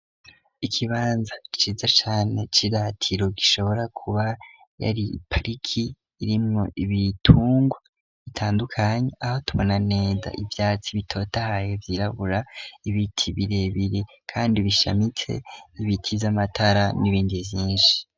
Ikibanza ciza cane c'iratiro, gishobora kuba yari parike irimwo ibitungwa bitandukanye, aho tubona neza ivyatsi bitotahaye, vyirabura, ibiti birebire kandi bishamitse, ibiti vy'amatara n'ibindi vyinshi.